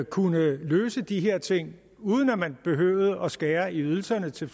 kunne løse de her ting uden at man behøvede at skære i ydelserne til